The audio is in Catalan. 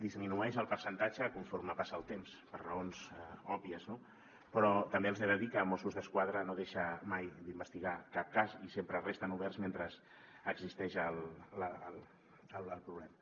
disminueix el percentatge conforme passa el temps per raons òbvies no però també els he de dir que mossos d’esquadra no deixa mai d’investigar cap cas i sempre resten oberts mentre existeix el problema